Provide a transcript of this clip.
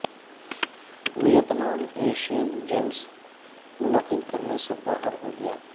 و یٹنا م Asian games منعقد کر نے سے با ہر ہو گیا